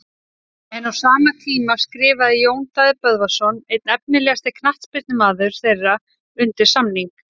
En á sama tíma skrifaði Jón Daði Böðvarsson einn efnilegasti knattspyrnumaður þeirra undir samning.